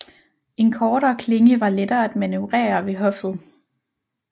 En kortere klinge var lettere at manøvrere ved hoffet